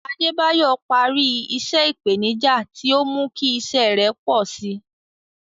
Adebayo parí iṣẹ́ ìpèníjà tí ó mú kí iṣẹ́ rẹ̀ pọ̀ sí i.